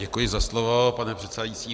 Děkuji za slovo, pane předsedající.